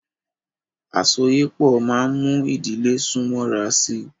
Àsọyépọ̀ máa mú ìdílé sún mọ́ra sí.